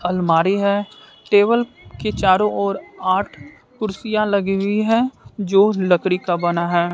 अलमारी है टेबल के चारों ओर आठ कुर्सियां लगी हुई हैं जो लकड़ी का बना है।